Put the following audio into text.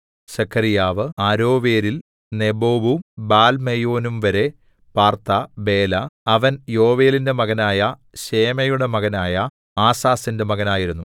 സെഖര്യാവ് അരോവേരിൽ നെബോവും ബാൽമെയോനുംവരെ പാർത്ത ബേല അവൻ യോവേലിന്റെ മകനായ ശേമയുടെ മകനായ ആസാസിന്റെ മകനായിരുന്നു